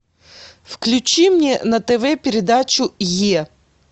включи мне на тв передачу е